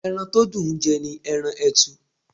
Ẹran to dùn ń jẹ́ ni ẹran etu.